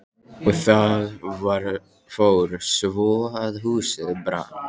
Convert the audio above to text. Og það fór svo að húsið brann.